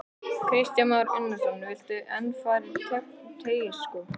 Kristján Már Unnarsson: Viltu enn fara um Teigsskóg?